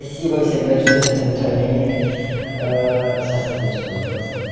спасибо всем большое за поздравление сейчас отвечу на вопрос